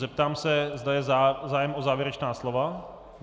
Zeptám se, zda je zájem o závěrečná slova.